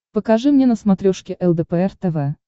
покажи мне на смотрешке лдпр тв